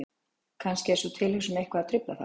Kannski er sú tilhugsun eitthvað að trufla þá?